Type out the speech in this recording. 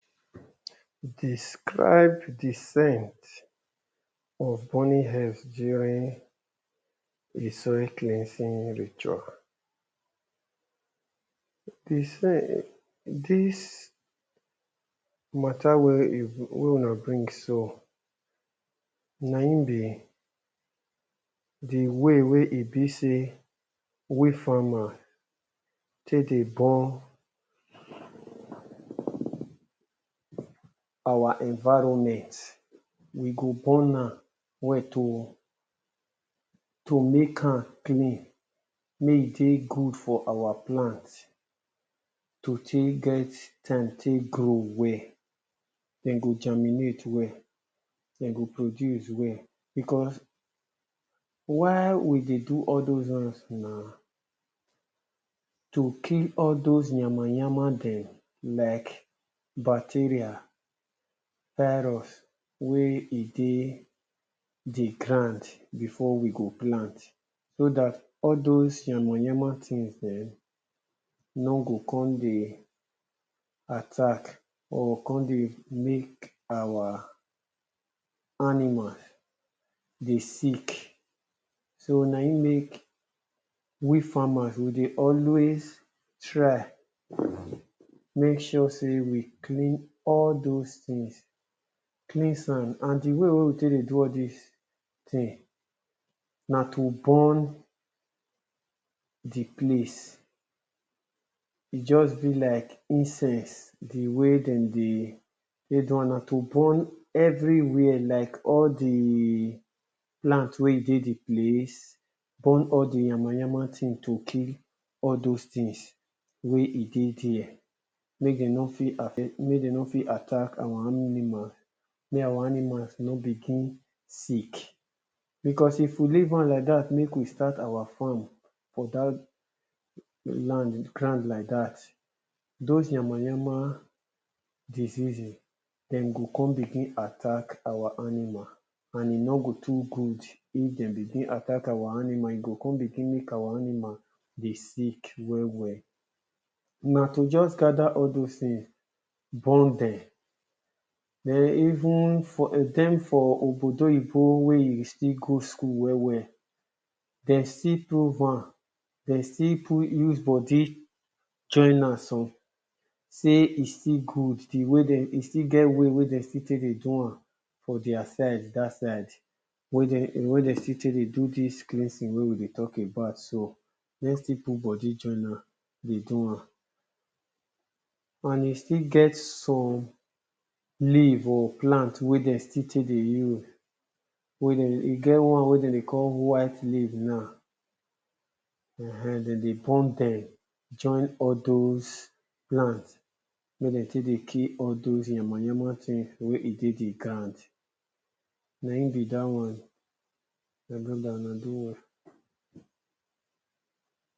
Describe dii scent of burning herb during [2] cleansing nature. Is saying dis matter wey you wey una bring so na im be di way wey e be sey we farmer take dey burn our environment we go burn to make am clean make e dey good for our plant to take get time take grow well. Dem go germinate well, dem go produce well because why we dey do all doz one na to kill all doz yama yama dem like bacteria virus wey e dey di ground before we go plant. So dat all doz yama yama things dem nor go come dey attack or come dey make our animal dey sick. So na im make we farmers dey always try, make sure sey we clean all doz things cleans am and di way we take dey do all dis thing na to burn di place. E just be like incense di way dem dey take do am na to burn everywhere like all di plant wey e dey di place, burn all di yama yama thing to kill all doz things wey e dey there, make dem nor fit affect, make dem nor fit attack our animal, make our animals nor begin sick. Because if we leave am like dat make we start our farm for dat land ground like dat doz yama yama diseases dem go come begin attack our animal, and e nor go too good, if dem come begin attack our animal e go come make our animal begin sick, well well na to just gather all doz thing, burn dem. Den even dem for obodo oyibo wey still go school well well, person prove am, person still use body join am sey e still good e still e still get way wey dem take dey do am for their side dat side, wey de wey dem still take dey do dis cleansing wey we dey talk about so dem still put body join am, dey do am. And e still get some leave or plant wey dem still take dey use wey dem, e get one wey dem dey call white leave na, ehen dem dey burn dem join all doz plant wen dem take dey kill all doz yama yama thing dem wey e dey di ground na im be dat one, my brother una do well.